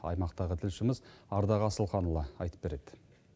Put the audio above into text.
аймақтағы тілшіміз ардақ асылханұлы айтып береді